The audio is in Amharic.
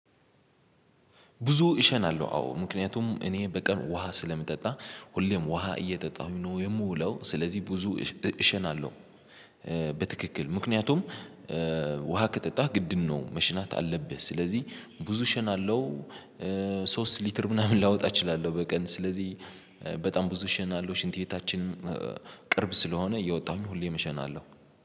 ብዙ እሸናለሁ አዎ ምክንያቱም እኔ በቀን ውሃ ስለምጠጣ ሁሌም ውሃ እየጠጣሁኝ ነው የምውለው ስለዚህ ብዙ እሸናለሁ። በትክክል ምክንያቱም ውሃ ከጠጣህ ግድም ነው መሽናት አለብህ። ስለዚህ ብዙ እሸናለው። ሶስት ሊትር ምናምን ላወጣ እችላለሁ። በቀን ስለዚህ በጣም ብዙ እሸናለው ሽንት ቤታችን ቅርብ ስለሆነ እየወጣሁኝ ሁሌም እሸናለው